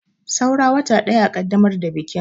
Saura wata ɗaya a kaddamar da bikin.